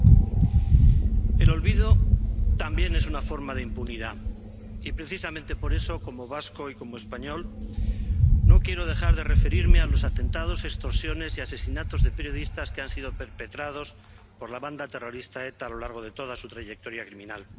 Señora presidenta, el olvido también es una forma de impunidad y precisamente, por eso, como vasco y como español, no quiero dejar de referirme a los atentados, extorsiones y asesinatos de periodistas perpetrados por la banda terrorista ETA a lo largo de toda su trayectoria criminal.